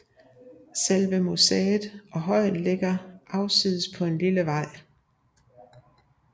Selve museet og højen ligger afsides på en lille vej